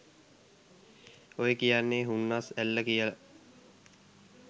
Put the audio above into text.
ඔය කියන්නේ “හුන්නස් ඇල්ල” කියල